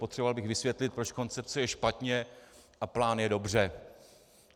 Potřeboval bych vysvětlit, proč koncepce je špatně a plán je dobře.